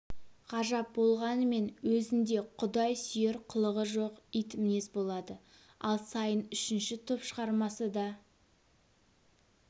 ғажап болғанымен өзінде құдай сүйер қылығы жоқ итмінез болады ал сайын үшінші топ шығармасы да